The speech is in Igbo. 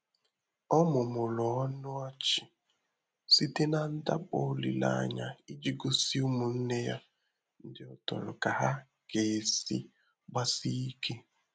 Ọ́ mụ́mụ́rụ̀ ọnụ́ ọchị́ sìté nà ndàkpọ ólílé ányá ìjí gósí ụ́mụ́nnè yá ndị́ ọ tọrọ kà há gà-èsí gbàsíé íké.